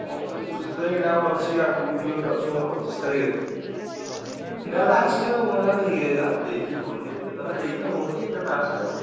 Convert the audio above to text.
ହଁ ଦେଖୁଛି ଏଟା ଆଉ ଅଛି ଆଗୁକୁ ବି ଅଛି ଗୋଟେ ମୋ ପଚିଶି ତାରିଖ୍ ରେ। ଏଟା last ଆଉ ମୁଁ ଆଉ ଦେଇହବନି ଏତେ ତ ଦେଇକି ହଉନି ଏଇଟା last ଆଉ।